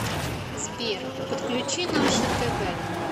сбер подключи наше тв